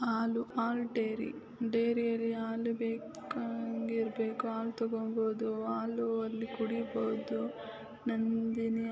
ಹಾಲು ಹಾಲು ಡೇರಿ ಡೇರಿಯಲಿ ಹಾಲು ಬೇಕು ಇರ್ಬೇಕು ಹಾಲ್ ತಕೊಂಬೋದು ಹಾಲು ಅದ್ ಕುಡೀಬೋದು ನಂದಿನಿ --